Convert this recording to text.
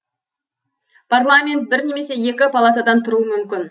парламент бір немесе екі палатадан тұруы мүмкін